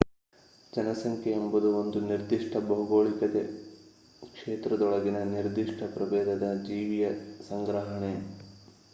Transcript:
ಜನಸಂಖ್ಯೆ ಎಂಬುದು ಒಂದು ನಿರ್ದಿಷ್ಟ ಭೌಗೋಳಿಕ ಕ್ಷೇತ್ರದೊಳಗಿನ ನಿರ್ದಿಷ್ಟ ಪ್ರಭೇದದ ಜೀವಿಯ ಸಂಗ್ರಹಣೆ